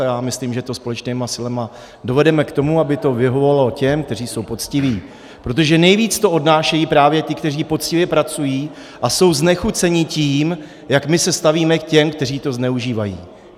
A já myslím, že to společnými silami dovedeme k tomu, aby to vyhovovalo těm, kteří jsou poctiví, protože nejvíc to odnášejí právě ti, kteří poctivě pracují a jsou znechuceni tím, jak my se stavíme k těm, kteří to zneužívají.